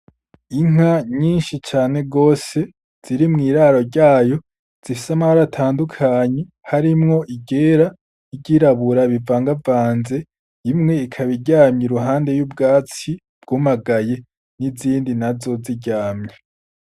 Inka nyinshi cane rwose ziri mw'iraro ryayo zifise amari atandukanyi harimwo igera igirabura bivangavanze imwe ikabairyamya i ruhande y'ubwatsi bwumagaye n'izindi nazoziryamya.